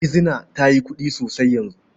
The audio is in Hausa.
Gizina ta yi kuɗi sosai yanzu.